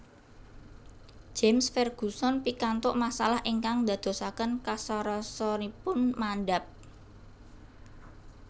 James Ferguson pikantuk masalah ingkang ndadosaken kasarasanipun mandhap